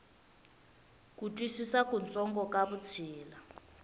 ku twisisa kutsongo ka vutshila